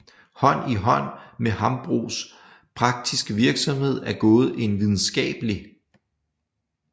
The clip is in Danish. Hånd i hånd med Hambros praktiske virksomhed er gået en videnskabelig